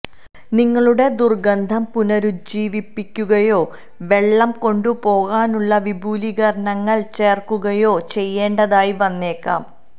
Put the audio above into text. നിങ്ങളുടെ ദുർഗന്ധം പുനരുജ്ജീവിപ്പിക്കുകയോ വെള്ളം കൊണ്ടുപോകാനുള്ള വിപുലീകരണങ്ങൾ ചേർക്കുകയോ ചെയ്യേണ്ടതായി വന്നേക്കാം